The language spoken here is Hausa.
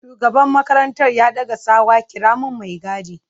Shugaban makarantar ya daka tsawa 'kira min mai gadi!'